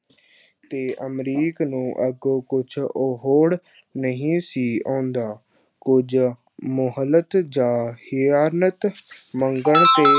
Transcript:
ਤੇ ਅਮਰੀਕ ਨੂੰ ਅੱਗੋਂ ਕੁਛ ਅਹੁੜ ਨਹੀਂ ਸੀ ਆਉਂਦਾ, ਕੁਝ ਮੁਹਲਤ ਜਾਂ ਹਿਆਲਤ ਮੰਗਣ ਤੇ